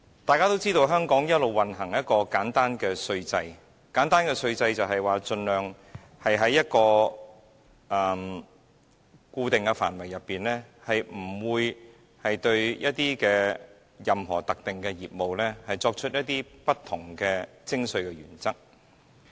大家也知道，香港一直奉行簡單稅制，而簡單的稅制的意思是，盡量在固定的範圍內，不會對任何特定的業務作出不同的徵稅原則。